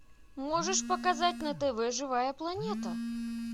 можешь показать на тв живая планета